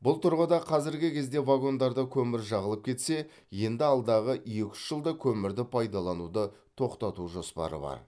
бұл тұрғыда қазіргі кезде вагондарда көмір жағылып кетсе енді алдағы екі үш жылда көмірді пайдалануды тоқтату жоспары бар